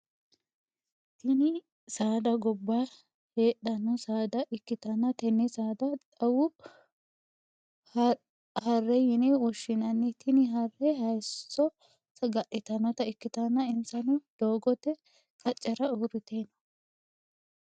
Tinni saada gobba heedhano saada ikitanna tenne saada xawu harre yinne woshinnanni tinni harre hayisho saga'litanota ikitanna insano doogote qacera uurite no.